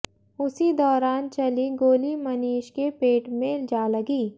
उसी दौरान चली गोली मनीष के पेट में जा लगी